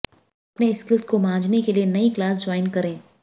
अपने स्किल्स को मांझने के लिए नई क्लास ज्वाइन करें